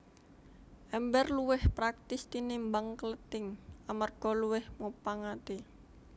Èmbèr luwih praktis tinimbang klething amarga luwih mupangati